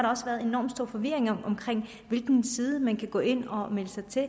også været enormt stor forvirring omkring på hvilken side man kan gå ind og melde sig til